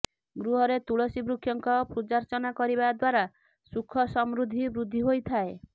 ଗୃହରେ ତୁଳସୀ ବୃକ୍ଷଙ୍କ ପୂଜାର୍ଚ୍ଚନା କରିବା ଦ୍ୱାରା ସୁଖସମୃଦ୍ଧି ବୃଦ୍ଧି ହୋଇଥାଏ